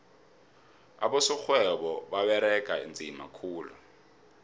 abosorhwebo baberega nzima khulu